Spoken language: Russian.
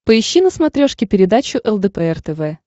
поищи на смотрешке передачу лдпр тв